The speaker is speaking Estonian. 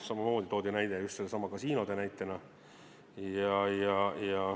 Samamoodi toodi näide just nendesamade kasiinode kohta.